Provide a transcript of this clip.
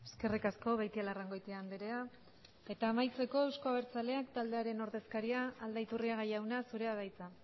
eskerrik asko beitialarrangoitia andrea eta amaitzeko euzko abertzaleak taldearen ordezkaria den aldaiturriaga jauna zurea da hitza